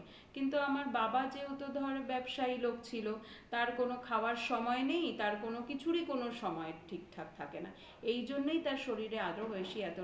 কিন্তু আমার বাবা যেহেতু ব্যবসায়ী লোক ছিল তার কোনো খাবার সময় নেই তার কোনো কিছুরই কোনো সময় ঠিকঠাক থাকে না এই জন্যই তার শরীরে আরো বেশি এত রকমের